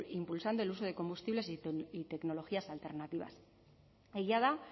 impulsando el uso de combustibles y tecnologías alternativas egia da